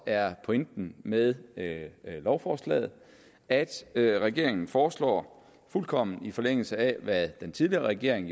er pointen med med lovforslaget altså at regeringen foreslår fuldkommen i forlængelse af hvad den tidligere regering